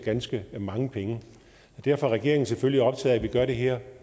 ganske mange penge derfor er regeringen selvfølgelig optaget vi gør det her